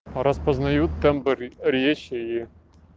распознают тэмбр речи и